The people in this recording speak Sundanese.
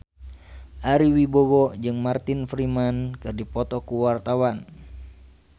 Ari Wibowo jeung Martin Freeman keur dipoto ku wartawan